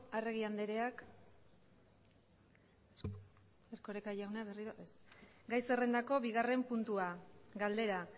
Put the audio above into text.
arregi andreak erkoreka jauna berriro ez gai zerrendako bigarren puntua galdera